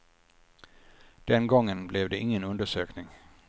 Den gången blev det ingen undersökning.